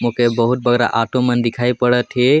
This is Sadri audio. मोके बहूत बग्गरा आटो मन दिखई पड़त हे।